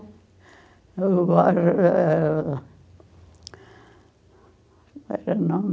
Eh... não